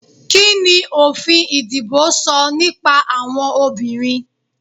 Kíni òfin ìdìbò sọ nípa àwọn obìnrin?